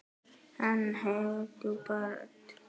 Hann hefur djúpa rödd.